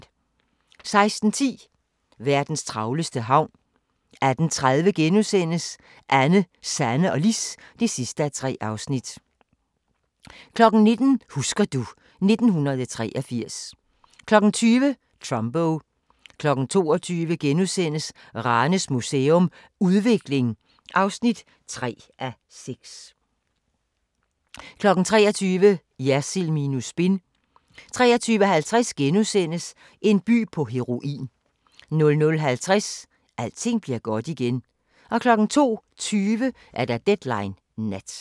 16:10: Verdens travleste havn 18:30: Anne, Sanne og Lis (3:3)* 19:00: Husker du ... 1983 20:00: Trumbo 22:00: Ranes Museum – Udvikling (3:6)* 23:00: Jersild minus spin 23:50: En by på heroin * 00:50: Alting bliver godt igen 02:20: Deadline Nat